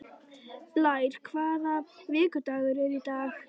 Blær, hvaða vikudagur er í dag?